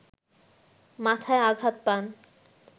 মাথায় আঘাত পান